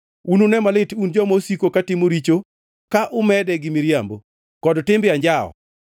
Unune malit un joma osiko katimo richo ka umede gi miriambo, kod timbe anjawo,